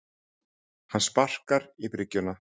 Hann sparkar í bryggjuna.